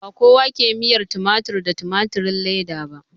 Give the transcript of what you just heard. Ba kowa ke miyar tumatir da tumatirin leda ba